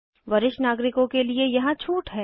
वरिष्ठ नागरिकों के लिए यहाँ छूट है